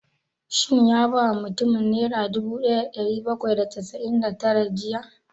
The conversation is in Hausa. Shin ya ba mutumin nera dubu ɗaya da ɗari bakwai da casa'in da tara jiya?